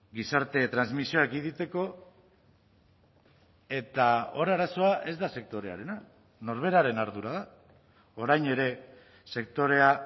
gizarte transmisioa ekiditeko eta hor arazoa ez da sektorearena norberaren ardura da orain ere sektorea